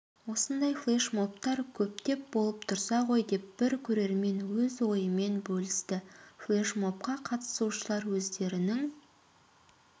осындай флешмобтар көптеп болып тұрса ғой деп бір көрермен өз ойымен бөлісті флешмобқа қатысушылар өздерінің